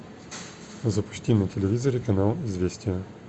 запусти на телевизоре канал известия